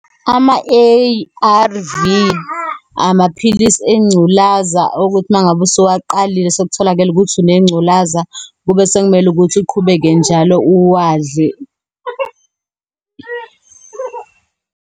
Ama-A_R_V amaphilisi engculaza, okuthi uma ngabe usuwaqalile, sekutholakele ukuthi unengculaza, kube sekumele ukuthi uqhubeke njalo uwadle.